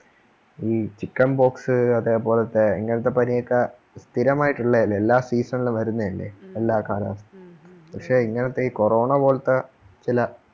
ഈ chickenpox അതേപോലെത്തെ ഇങ്ങനത്തെ പനിയൊക്കെ സ്ഥിരമായിട്ടുള്ള അല്ലേ എല്ലാ season ണിനും വരുന്ന അല്ലേ എല്ലാകാലത്തും പക്ഷേ ഇങ്ങനത്തെ ഈ കൊറോണ പോലത്തെ ചില